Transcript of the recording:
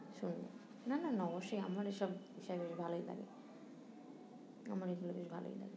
শোন না না না ও সে আমার এসব বিষয় নিয়ে ভালোই লাগে আমার এইগুলো বেস ভালোই লাগে